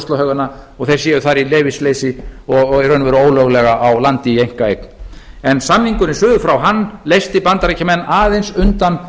og ruslahaugana og þeir séu þar í leyfisleysi og í raun og veru ólöglega á landi í einkaeign en samningurinn suður frá leysti bandaríkjamenn aðeins undan